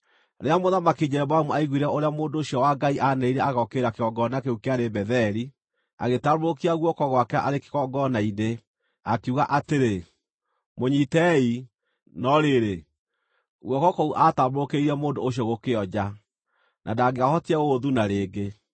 Rĩrĩa Mũthamaki Jeroboamu aaiguire ũrĩa mũndũ ũcio wa Ngai aanĩrĩire agokĩrĩra kĩgongona kĩu kĩarĩ Betheli, agĩtambũrũkia guoko gwake arĩ kĩgongona-inĩ, akiuga atĩrĩ, “Mũnyiitei!” No rĩrĩ, guoko kũu aatambũrũkĩirie mũndũ ũcio gũkĩonja, na ndangĩahotire gũgũthuna rĩngĩ.